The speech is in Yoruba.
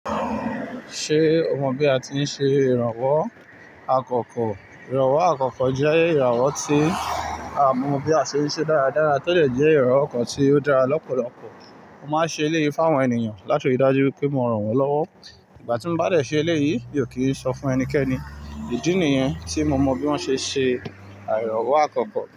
Ṣé o mọ bí a ti ń ṣe ìrànwọ́ àkọ́kọ́? Ìrànwọ́ àkọ́kọ́ jẹ́ ìrànwọ́ tí a mọ bí a ṣe ṣí dáradára todẹ̀ jẹ́ ìrànwọ́ kan tí ó dára lọ́pọ̀lọpọ̀. Mo máa ń ṣe eléyìí fún àwọn ènìyàn láti rí i dájú pé mo ràn wọ́n lọ́wọ́. Ìgbà tí mo bá dẹ̀ ṣe eléyìí, mi ò kì í sọ fún ẹnikẹ́ni. Ìdí nìyẹn tí mo mọ bí wón ṣe ṣe àyẹ̀wọ̀ àkọ́kọ́.